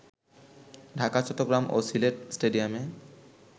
ঢাকা, চট্টগ্রাম ও সিলেট স্টেডিয়ামে